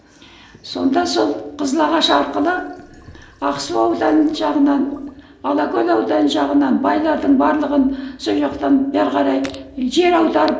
сонда сол қызылағаш арқылы ақсу ауданы жағынан алакөл ауданы жағынан байлардың барлығын сол жақтан бері қарай жер аударып